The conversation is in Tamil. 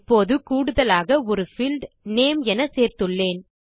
இப்போது கூடுதலாக ஒரு பீல்ட் நேம் என சேர்த்துள்ளேன்